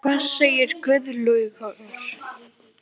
Hvað segir Guðlaugur?